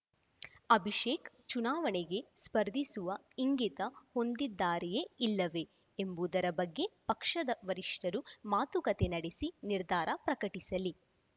ಅಭಿಷೇಕ್‌ ಚುನಾವಣೆಗೆ ಸ್ಪರ್ಧಿಸುವ ಇಂಗಿತ ಹೊಂದಿದ್ದಾರೆಯೇ ಇಲ್ಲವೇ ಎಂಬುದರ ಬಗ್ಗೆ ಪಕ್ಷದ ವರಿಷ್ಠರು ಮಾತುಕತೆ ನಡೆಸಿ ನಿರ್ಧಾರ ಪ್ರಕಟಿಸಲಿ